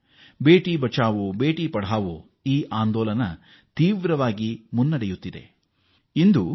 ಬೇಟಿ ಬಚಾವೋ ಬೇಟಿ ಪಡಾವೋ ಹೆಣ್ಣು ಮಕ್ಕಳನ್ನು ಉಳಿಸಿ ಹೆಣ್ಣು ಮಕ್ಕಳನ್ನು ಓದಿಸಿ ಆಂದೋಲನಕ್ಕೆ ಉತ್ತಮವಾಗಿ ಮುನ್ನಡೆದಿದೆ